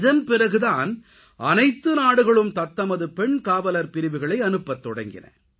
இதன் பிறகு தான் அனைத்து நாடுகளும் தத்தமது பெண் காவலர் பிரிவுகளை அனுப்பத்தொடங்கின